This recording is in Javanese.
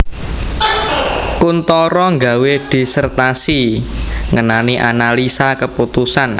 Kuntoro nggawé disertasi ngenani analisa keputusan